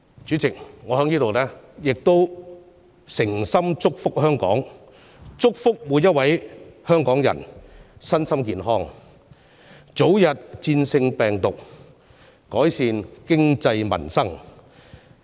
主席，我在此誠心祝福香港，祝福每位香港人身心健康，早日戰勝病毒，並見到經濟民生得以改善。